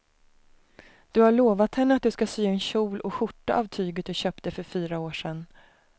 Du har lovat henne att du ska sy en kjol och skjorta av tyget du köpte för fyra år sedan.